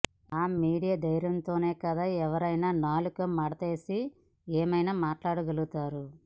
ఆ మీడియా ధైర్యంతోనే కదా ఎవరైనా నాలుక మడతేసి ఏమైనా మాట్లాడగలరు